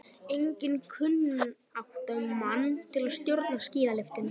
Einnig kunnáttumann til að stjórna skíðalyftu.